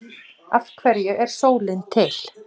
Biðja síðan um að forritið reki ættirnar saman.